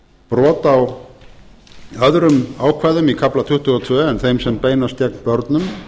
brot á öðrum ákvæðum í kafla tuttugu og tvö en þeim sem beinast gegn börnum